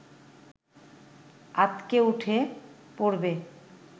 আঁতকে উঠে পড়বে